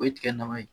O ye tiga nafa ye